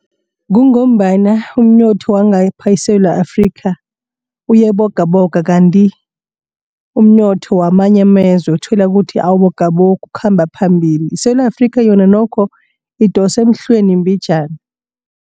Kungombana umnotho wangapha eSewula Afrika uyabogaboga. Kanti umnotho wamanye amazwe uthola ukuthi awubogabogi ukhamba phambili. ISewula Afrika yona nokho idosa emhlweni mbinjana.